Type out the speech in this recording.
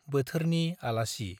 बोथोरनि आलासि